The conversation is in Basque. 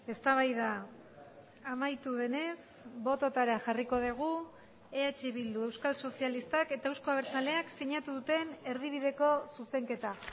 eztabaida amaitu denez bototara jarriko dugu eh bildu euskal sozialistak eta euzko abertzaleak sinatu duten erdibideko zuzenketa